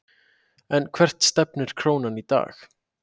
En hvert stefnir krónan í dag?